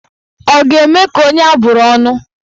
Ọ ga-eme ka onye abụrụ ọnụ?